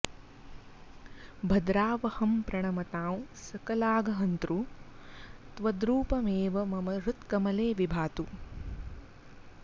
भद्रावहं प्रणमतां सकलाघ हन्तृ त्वद्रूपमेव मम हृत्कमले विभातु